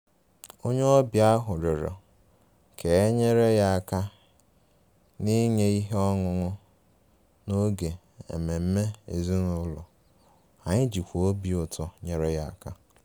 Onye ọbịa ahụ rịọrọ ka e nyere ya aka n’inye ihe ọṅụṅụ n’oge ememe ezinụlọ, anyị jikwa obi ụtọ nyere aka